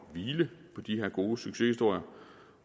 hvile på de her gode succeshistorier